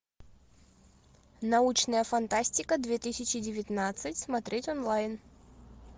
научная фантастика две тысячи девятнадцать смотреть онлайн